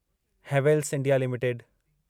Havells India limited